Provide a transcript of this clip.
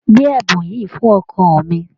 Gbé ẹ̀bùn yìí fún ọkọ mi.